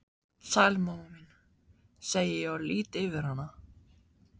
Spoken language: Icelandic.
Sæl mamma mín, segi ég og lýt yfir hana.